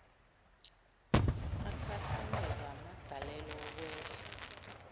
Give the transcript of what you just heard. akhahlamezwa amagalelo okwehla